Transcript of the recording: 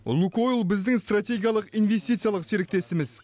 лукойл біздің стратегиялық инвестициялық серіктесіміз